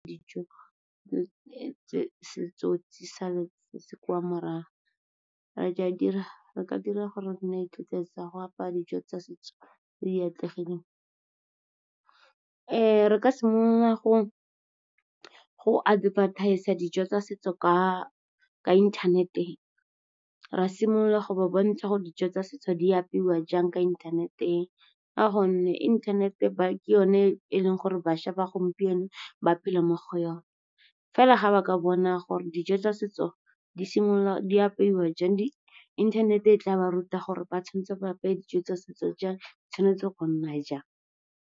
Dijo kwa morago re ka dira gore nna tsa go apaya dijo tsa setso tse di atlegileng. Re ka simolola go advertise-a dijo tsa setso ka inthanete, ra simolola go ba bontsha gore dijo tsa setso di apeiwa jang ka inthanete. Ka gonne inthanete ke yone e leng gore bašwa ba gompieno ba phela mo go yone, fela ga ba ka bona gore dijo tsa setso di apeiwa jang. Inthanete e tla ba ruta gore ba tshwanetse ba apaya dijo tsa setso jang, kgotsa di tshwanetse go nna jang.